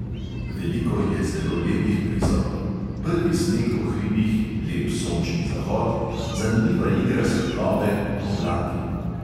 Veliko je zelo lepih prizorov: prvi sneg po hribih, lep sončni zahod, zanimiva igra svetlobe, oblaki.